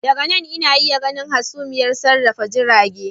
Daga nan ina iya ganin hasumiyar sarrafa jirage